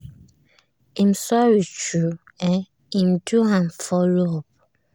him sorry true um him do am follow up